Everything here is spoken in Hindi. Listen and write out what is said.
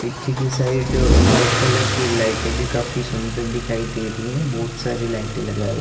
पीछे की साइड वाइट कलर की लाइटें भी काफी सुन्दर दिखाई दे रही है बहोत सारी लाइटे लगा --